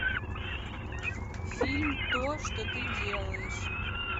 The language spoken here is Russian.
фильм то что ты делаешь